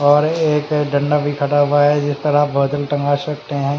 और एक गना बाई खड़ा हुआ हे जिस तरह सकते हैं।